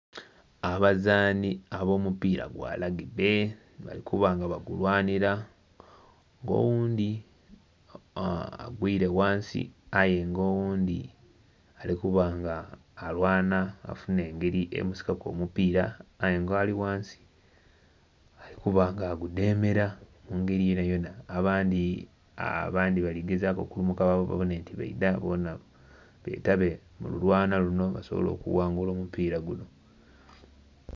Abazaani ab'omupiira gwa lagibbe bali kuba nga bagulwanhira. Nga oghundhi agwire ghansi aye nga oghundhi ali kuba nga alwana afunhe engeri emusikaku omupiira, aye nga ali ghansi ali kuba nga agudhemera mu ngeri yonayona. Abandhi...abandhi bali gezaaku okulumuka babone nti baidha bonha betabe mu lulwana luno basobole okuwangula omupiira guno.